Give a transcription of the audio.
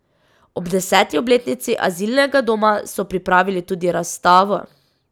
Ob deseti obletnici azilnega doma so pripravili tudi razstavo.